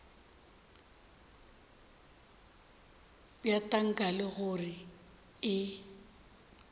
bja tanka le gore e